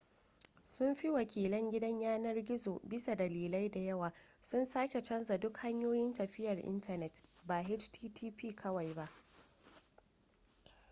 sun fi wakilan gidan yanar-gizo bisa dalilai da yawa sun sake canja duk hanyoyin tafiyar intanet ba http kawai ba